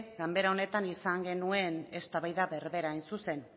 ganbera honetan izan genuen eztabaida berbera hain zuzen